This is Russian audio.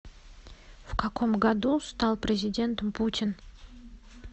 в каком году стал президентом путин